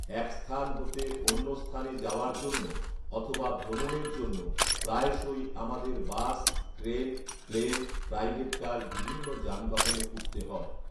এক স্থান হতে অন্য স্থানে যাওয়ার জন্য অথবা ভ্ৰমণের জন্য প্রায়শই আমাদের bus, train, plane, private car বিভিন্ন যানবাহনে উঠতে হয়